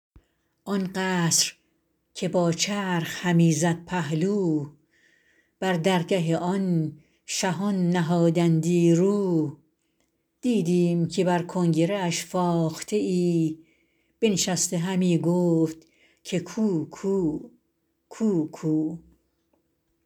آن قصر که با چرخ همی زد پهلو بر درگه آن شهان نهادندی رو دیدیم که بر کنگره اش فاخته ای بنشسته همی گفت که کوکو کوکو